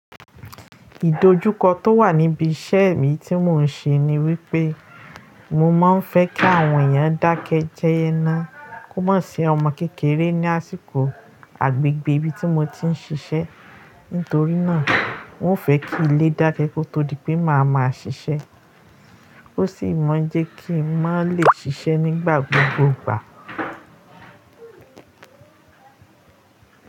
Ìdojúkọ tó wà níbi iṣẹ́ mi tí mò ń ṣe ni wípé mo máa ń fẹ́ kí àwọn èèyàn dákẹ́ jẹ́ ná, kó má sìí ọmọ kékeré ní àsìkò agbègbè ibi tí mo ti ń ṣiṣẹ́. Nítorí náà, n ó fẹ̀ẹ́ kí ilé dákẹ́ kó tó di pé màá máa ṣiṣẹ́. Ó sì máa ń jẹ́ kí n mà lè ṣiṣẹ́ nígbà gbogbo'gbà.